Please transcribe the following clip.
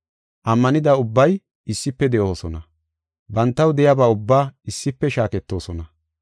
Ammanida ubbay issife de7oosona; bantaw de7iyaba ubbaa issife shaaketoosona.